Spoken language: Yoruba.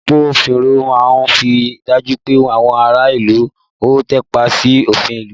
Àwọn agbófinró máa ń ríi dájú pé àwọn ará ìlú ó tàpá sí òfin ìlú